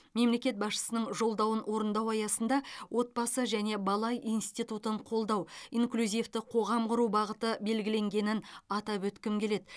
мемлекет басшысының жолдауын орындау аясында отбасы және бала институтын қолдау инклюзивті қоғам құру бағыты белгіленгенін атап өткім келеді